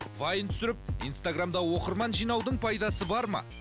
вайн түсіріп инстаграмда оқырман жинаудың пайдасы бар ма